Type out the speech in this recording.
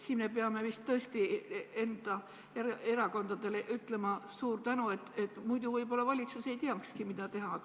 Siin me peame vist tõesti ütlema enda erakondadele suure tänu, muidu võib-olla valitsus ei teakski, mida teha.